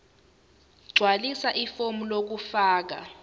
gqwalisa ifomu lokufaka